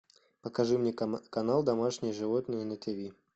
покажи мне канал домашние животные на тв